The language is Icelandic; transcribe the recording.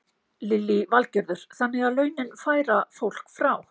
Lillý Valgerður: Þannig að launin færa fólk frá?